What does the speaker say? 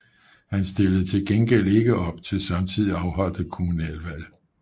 Han stillede til gengæld ikke op til samtidigt afholdte kommunalvalg